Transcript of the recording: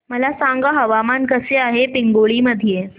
मला सांगा हवामान कसे आहे पिंगुळी मध्ये